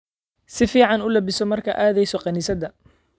Si fiican u labbiso markaad aadayso kaniisadda